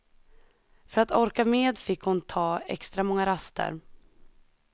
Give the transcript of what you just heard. För att orka med fick hon ta extra många raster.